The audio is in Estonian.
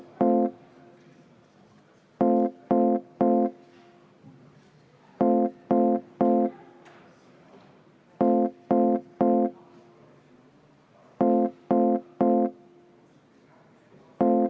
Paneme hääletusele.